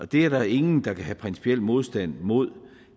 det er der ingen der kan have principiel modstand mod